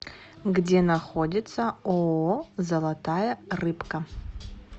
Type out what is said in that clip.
где находится ооо золотая рыбка